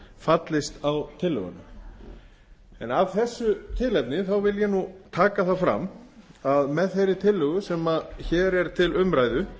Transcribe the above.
fallist á tillöguna af þessu tilefni vil ég taka það fram að með þeirri tillögu sem hér er til umræðu